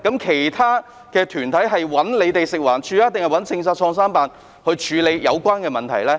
其他團體是找食環署還是創新辦處理有關的問題呢？